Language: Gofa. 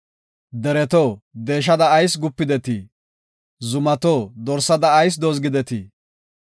Dereto, deeshada ayis gupidetii? zumato, dorsada ayis dozgidetii?